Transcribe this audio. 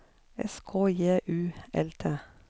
S K J U L T